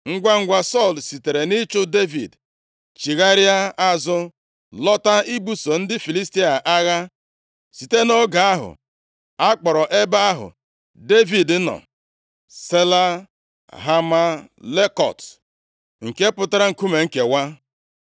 Ngwangwa, Sọl sitere nʼịchụ Devid chigharịa azụ, lọta ibuso ndị Filistia agha. Site nʼoge ahụ, a kpọrọ ebe ahụ Devid nọ, Sela Hamahlekot, nke pụtara, Nkume Nkewa.